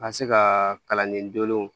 Ka se ka kalanden dɔw